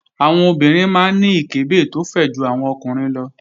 Àwọn obìnrin máa ń ní ìkẹ́bẹ̀ tó fẹ̀ ju àwọn ọkùnrin lọ